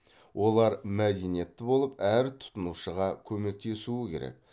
олар мәдениетті болып әр тұтынушыға көмектесуі керек